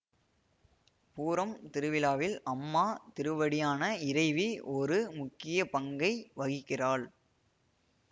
பூரம் திருவிழாவில் அம்மா திருவடியான இறைவி ஒரு முக்கிய பங்கை வகிக்கிறாள்